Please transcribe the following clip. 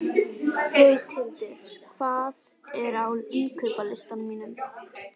Gauthildur, hvað er á innkaupalistanum mínum?